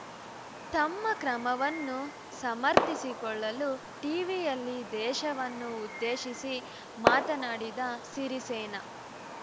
ತಮ್ಮ ಕ್ರಮವನ್ನು ಸಮರ್ಥಿಸಿಕೊಳ್ಳಲು ಟೀವಿಯಲ್ಲಿ ದೇಶವನ್ನು ಉದ್ದೇಶಿಸಿ ಮಾತನಾಡಿದ ಸಿರಿಸೇನ